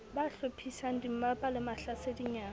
ba hlophisang dimmapa le mahlasedinyana